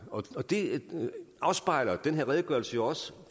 og det afspejler den her redegørelse jo også